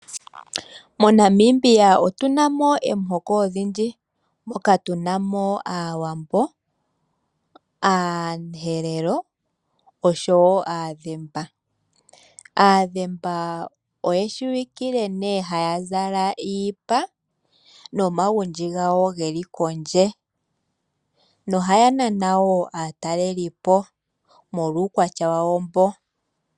MoNamibia otu na mo omihoko odhindji, moka tu na mo Aawambo, Aaherero noshowo Aadhimba. Aadhimba oye shiwikile haya zala iipa noontulo dhawo dhi li kondje. Ohaya nana wo aatalelipo molwa uukwatya wawo mboka.